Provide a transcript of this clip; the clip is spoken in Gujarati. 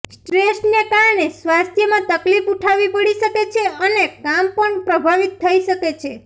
સ્ટ્રેસને કારણે સ્વાસ્થ્યમાં તકલીફ્ ઉઠાવવી પડી શકે છે અને કામ પણ પ્રભાવિત થઈ શકે છે